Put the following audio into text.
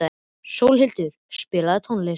Sólhildur, spilaðu tónlist.